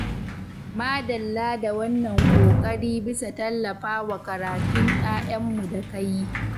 Madalla da wannan ƙoƙari bisa tallafawa karatun ƴaƴanmu da ka yi.